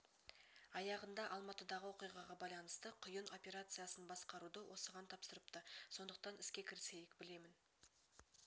аяғында алматыдағы оқиғаға байланысты құйын операциясын басқаруды осыған тапсырыпты сондықтан іске кірісейік білемін